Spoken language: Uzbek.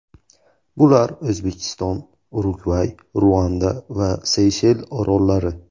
Bular O‘zbekiston, Urugvay, Ruanda va Seyshel orollari.